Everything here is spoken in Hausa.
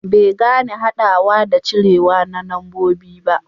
bai gane hadawa da cirewa na nambobi ba